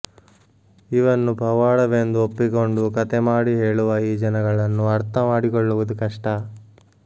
ಇವನ್ನು ಪವಾಡವೆಂದು ಒಪ್ಪಿಕೊಂಡು ಕಥೆಮಾಡಿ ಹೇಳುವ ಈ ಜನಗಳನ್ನು ಅರ್ಥಮಾಡಿಕೊಳ್ಳುವುದು ಕಷ್ಟ